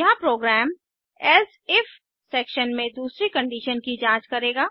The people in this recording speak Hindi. यहाँ प्रोग्राम एल्से इफ सेक्शन में दूसरी कंडीशन की जांच करेगा